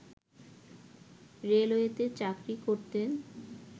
রেলওয়েতে চাকরি করতেন